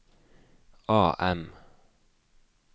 AM